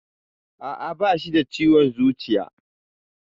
Aa, Bashi da ciwon zuciya.